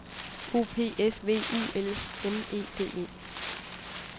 O P S V U L M E D E